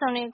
ဆောင် လာရတဲ့